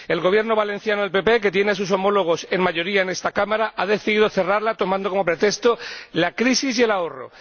El Gobierno valenciano del Partido Popular —que tiene a sus homólogos en mayoría en esta Cámara— ha decidido cerrarla tomando como pretexto la crisis y el ahorro.